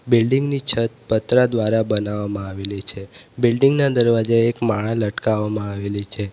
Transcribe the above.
Building ની છત પતરા દ્વારા બનાવામાં આવેલી છે બિલ્ડીંગ ના દરવાજે એક માળા લટકાવવામાં આવેલી છે.